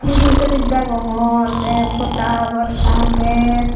phodo sovig degongor te podha habor aagey.